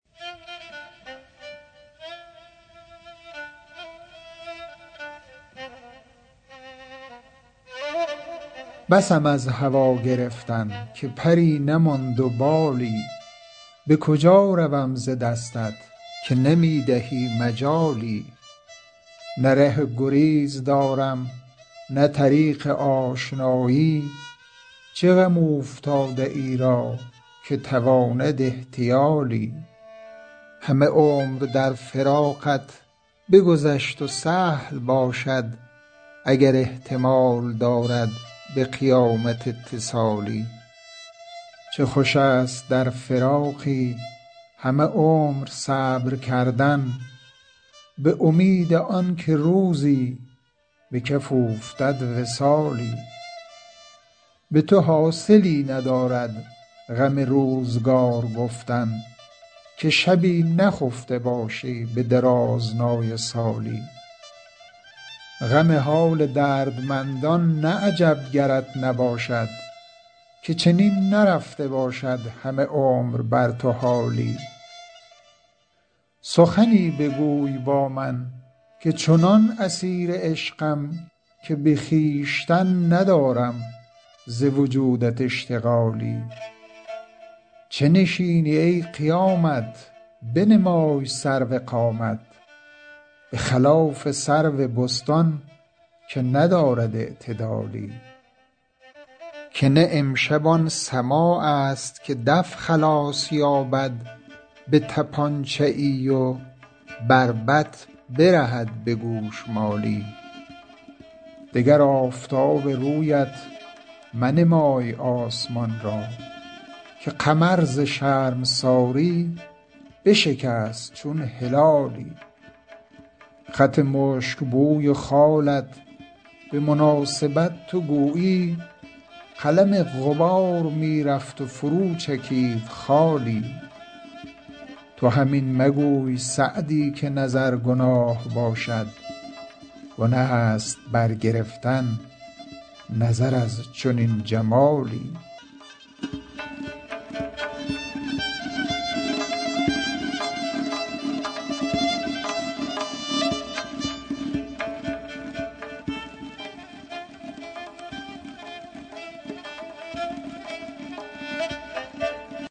بسم از هوا گرفتن که پری نماند و بالی به کجا روم ز دستت که نمی دهی مجالی نه ره گریز دارم نه طریق آشنایی چه غم اوفتاده ای را که تواند احتیالی همه عمر در فراقت بگذشت و سهل باشد اگر احتمال دارد به قیامت اتصالی چه خوش است در فراقی همه عمر صبر کردن به امید آن که روزی به کف اوفتد وصالی به تو حاصلی ندارد غم روزگار گفتن که شبی نخفته باشی به درازنای سالی غم حال دردمندان نه عجب گرت نباشد که چنین نرفته باشد همه عمر بر تو حالی سخنی بگوی با من که چنان اسیر عشقم که به خویشتن ندارم ز وجودت اشتغالی چه نشینی ای قیامت بنمای سرو قامت به خلاف سرو بستان که ندارد اعتدالی که نه امشب آن سماع است که دف خلاص یابد به طپانچه ای و بربط برهد به گوشمالی دگر آفتاب رویت منمای آسمان را که قمر ز شرمساری بشکست چون هلالی خط مشک بوی و خالت به مناسبت تو گویی قلم غبار می رفت و فرو چکید خالی تو هم این مگوی سعدی که نظر گناه باشد گنه است برگرفتن نظر از چنین جمالی